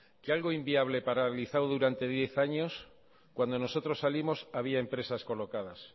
que algo inviable paralizado durante diez años cuando nosotros salimos había empresas colocadas